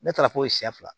Ne taara fo siyɛ fila